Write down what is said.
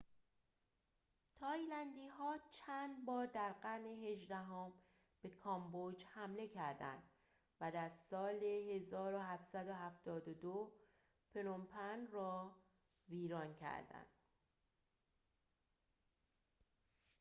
تایلندی‌ها چندبار در قرن هجدهم به کامبوج حمله کردند و در سال ۱۷۷۲ پنوم‌پن را ویران کردند